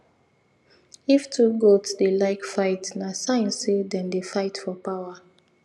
if two goats dey like fight na sign say them dey fight for power